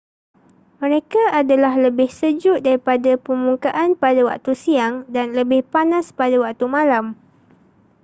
mereka adalah lebih sejuk daripada permukaan pada waktu siang dan lebih panas pada waktu malam